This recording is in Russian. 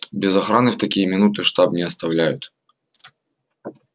без охраны в такие минуты штаб не оставляют